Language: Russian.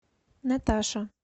наташа